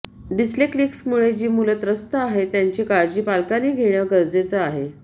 डिस्लेक्सिकमुळे जी मुलं त्रस्त आहेत त्यांची काळजी पालकांनी घेणं गरजेचं आहे